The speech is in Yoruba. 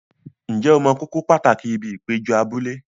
Ǹjẹ́ o mọ kókó pàtàkì ibi ìpéjọ abúlé?